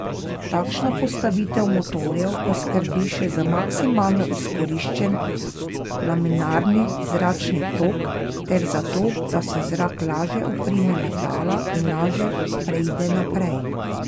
Takšna postavitev motorjev poskrbi še za maksimalno izkoriščen laminarni zračni tok ter za to, da se zrak lažje oprime letala in lažje preide naprej.